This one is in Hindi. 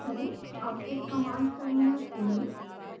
अब एक कमांड टर्मिनल खोलें